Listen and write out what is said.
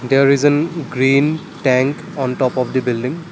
there is an green tank on top of the building.